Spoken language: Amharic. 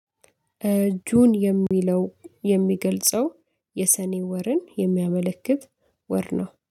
ጁን የሚለው የሚገልጸው የሰኔ ወርን የሚያመለክት ወር ነው